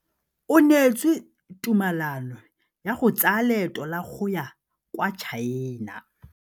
O neetswe tumalanô ya go tsaya loetô la go ya kwa China.